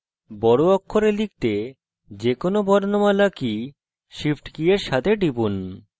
বড় অক্ষরে লিখতে যে কোনো বর্ণমালা key shift key এর সাথে টিপুন